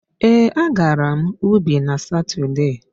Ee, a gara m ubi n'Satọde.